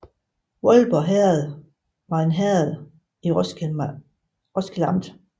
Voldborg Herred var et herred i Roskilde Amt